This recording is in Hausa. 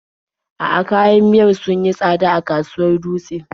A'a, kayan miyar sun yi tsada a kasuwar Dutse.